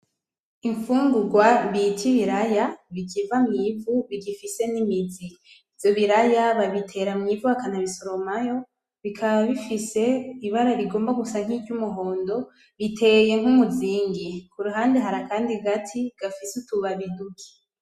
Imfungurwa bita ibiraya bikiva mw'ivu bigifise n'imizi. Ivyo biraya babitera mw'ivu bakanabisoromayo bikaba bifise ibara rigomba gusa nk'iryumuhondo biteye nk'umuzingi, kuruhande hari akandi gati gafise utubabi duke.